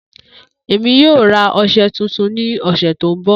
Emi yoo ra ọṣẹ tuntun ni ọsẹ to nbọ.